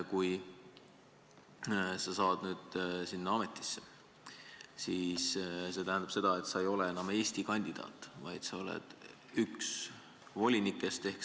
Kui sa saad sinna ametisse, siis see tähendab seda, et sa ei ole enam Eestist esitatud kandidaat, vaid sa oled üks volinikest.